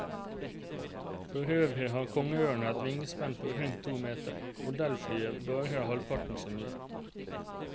For øvrig har kongeørnen et vingespenn på rundt to meter, modellflyet bare halvparten så mye.